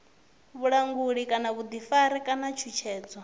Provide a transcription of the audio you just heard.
vhulanguli kana vhuḓifari kana tshutshedzo